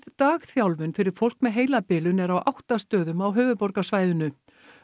dagþjálfun fyrir fólk með heilabilun er á átta stöðum á höfuðborgarsvæðinu